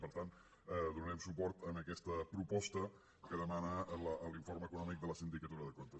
per tant donarem suport a aquesta proposta que demana l’informe econòmic de la sindicatura de comptes